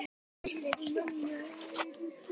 Hanna María.